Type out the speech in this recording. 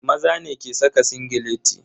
Maza ne ke saka singileti.